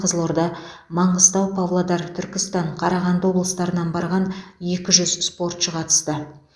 қызылорда маңғыстау павлодар түркістан қарағанды облыстарынан барған екі жүз спортшы қатысты